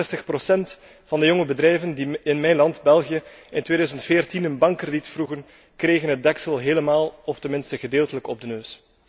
66 procent van de jonge bedrijven die in mijn land, België, in 2014 een bankkrediet vroegen, kregen het deksel helemaal of gedeeltelijk op de neus.